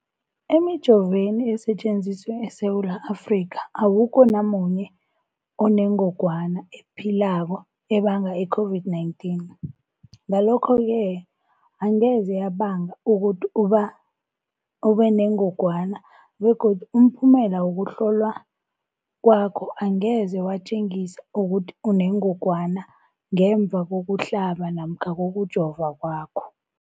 Emijoveni esetjenziswa eSewula Afrika, awukho namunye onengog wana ephilako ebanga i-COVID-19. Ngalokho-ke angeze yabanga ukuthi ubenengogwana begodu umphumela wokuhlolwan kwakho angeze watjengisa ukuthi unengogwana ngemva kokuhlaba namkha kokujova kwakho.